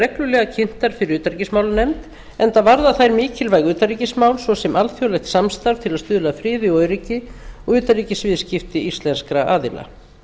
reglulega kynntar fyrir utanríkismálanefnd enda varða þær mikilvæg utanríkismál svo sem alþjóðlegt samstarf til að stuðla að friði og öryggi og utanríkisviðskipti íslenskra aðila